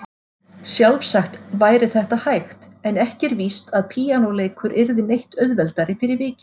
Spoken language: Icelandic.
Sjálfsagt væri þetta hægt en ekki er víst að píanóleikur yrði neitt auðveldari fyrir vikið.